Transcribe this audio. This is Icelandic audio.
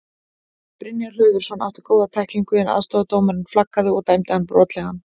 Brynjar Hlöðversson átti góða tæklingu en aðstoðardómarinn flaggaði og dæmdi hann brotlegan.